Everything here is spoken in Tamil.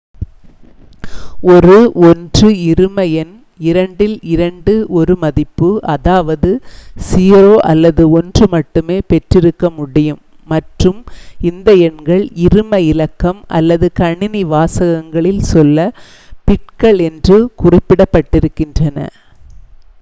ஒரு 1 இரும எண் இரண்டில் 2 ஒரு மதிப்பு அதாவது 0 அல்லது 1 மட்டுமே பெற்றிருக்க முடியும் மற்றும் இந்த எண்கள் இரும இலக்கம் அல்லது கணினி வாசகங்களில் சொல்ல - பிட்கள் என்று குறிப்பிடப்படுகின்றன